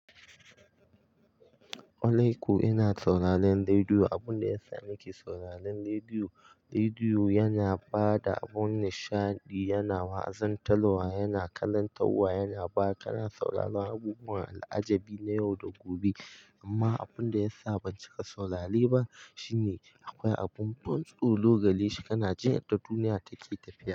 Kwaalaiko ina sauraron rediyo. Abun da yasa nake sauraron rediyo, rediyo yana ba da abun nishaɗi, yana wazan taluwa, yana karantawa, yana ba ka sauraron abubuwan al'ajabi na yau da gobe. Amma abun da yasa ban cika saurare ba shine akwai abun ban tsoro gare shi. Kana jin yadda duniya take tafiya.